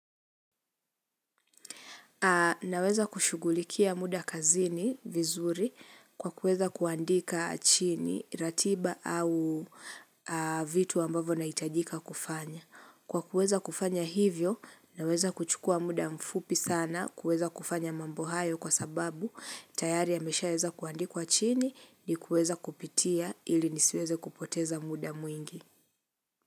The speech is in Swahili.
Naweza kushugulikia muda kazini vizuri kwa kuweza kuandika chini ratiba au vitu ambavo nahitajika kufanya. Kwa kuweza kufanya hivyo, naweza kuchukua muda mfupi sana kwa kuweza kufanya mambo hayo kwa sababu tayari ya meshaweza kuandikwa chini ni kuweza kupitia ili nisiweze kupoteza muda mwingi.